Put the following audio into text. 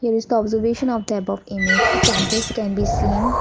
this is the observation of the above image a campus can be seen.